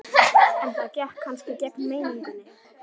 En það gekk kannski gegn meiningunni.